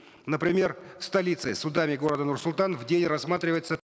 например в столице судами города нур султан в день рассматривается